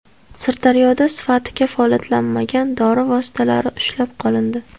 Sirdaryoda sifati kafolatlanmagan dori vositalari ushlab qolindi.